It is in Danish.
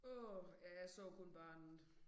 Åh ja jeg så kun barnet